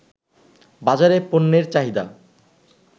বাজারে পণ্যের চাহিদা